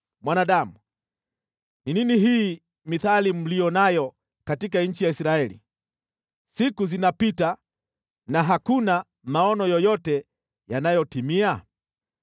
“Mwanadamu, ni nini hii mithali mlio nayo katika nchi ya Israeli: ‘Siku zinapita na hakuna maono yoyote yanayotimia?’